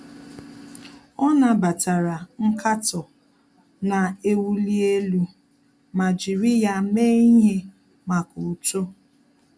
Ọ́ nàbàtàrà nkatọ nà-èwúlí élú ma jìrì ya mee ihe màkà uto.